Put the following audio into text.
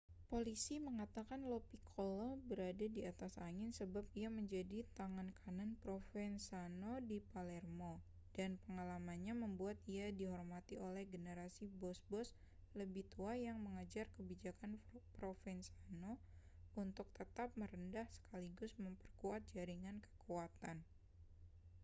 polisi mengatakan lo piccolo berada di atas angin sebab ia menjadi tangan kanan provenzano di palermo dan pengalamannya membuat ia dihormati oleh generasi bos-bos lebih tua yang mengejar kebijakan provenzano untuk tetap merendah sekaligus memperkuat jaringan kekuatan